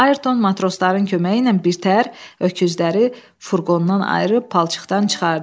Ayrton matrosların köməyi ilə birtəhər öküzləri furqondan ayırıb palçıqdan çıxartdı.